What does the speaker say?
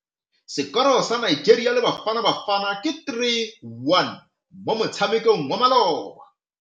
Sekôrô sa Nigeria le Bafanabafana ke 3-1 mo motshamekong wa malôba.